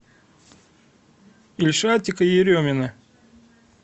ильшатика еремина